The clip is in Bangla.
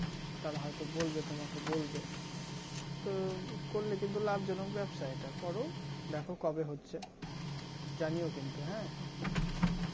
তারা হয়তো বলবে তোমাকে বলবে তো করলে কিন্তু লাভজনক ব্যবসা এটা করো দেখো কবে হচ্ছে জানিও কিন্তু হ্যাঁ